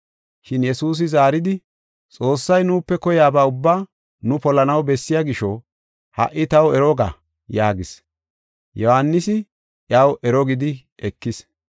Shin Yesuusi zaaridi, “Xoossay nuupe koyaba ubbaa nu polanaw bessiya gisho, ha77i taw ero ga” yaagis. Yohaanisi iyaw ero gidi ekis.